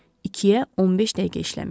İkiyə 15 dəqiqə işləmişdi.